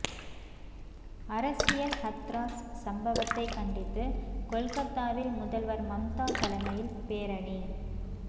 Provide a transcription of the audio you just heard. அரசியல் ஹத்ராஸ் சம்பவத்தை கண்டித்து கொல்கத்தாவில் முதல்வர் மம்தா தலைமையில் பேரணி